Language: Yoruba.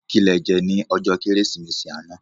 Ki lè jè ni òjò Kérésimési àná